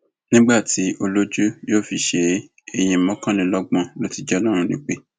nígbà tí olójú yóò sì fi ṣe é èèyàn mọkànlélọgbọn ló ti jẹ ọlọrun nípè